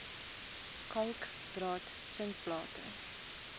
kalk draad sinkplate